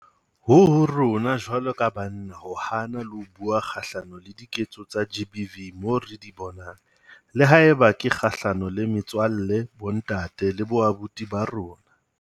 Ho ho rona jwalo ka banna ho hana le ho bua kgahlano le diketso tsa GBV moo re di bonang, le haeba ke kgahlano le metswalle, bontate le boabuti ba rona.